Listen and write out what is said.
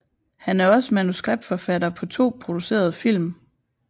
Han er også manuskriptforfatter på to producerede film